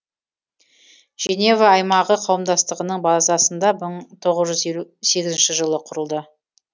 женева аймағы қауымдастығының базасында мың тоғыз жүз елу сегізінші жылы құрылды